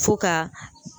Fo ka